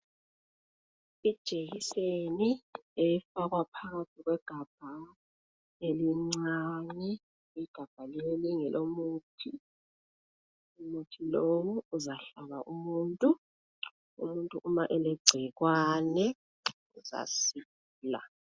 Ijekiseni efakwa phambi kwegabha elincane, igabha leli nge lomuthi, umuthi lowu uzahlaba umuntu, umuntu uma elegcikwane uzasila.